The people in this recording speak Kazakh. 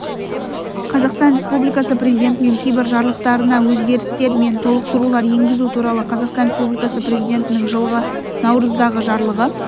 қазақстан республикасы президентінің кейбір жарлықтарына өзгерістер мен толықтырулар енгізу туралы қазақстан республикасы президентінің жылғы наурыздағы жарлығы